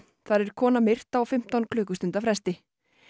þar er kona myrt á fimmtán klukkustunda fresti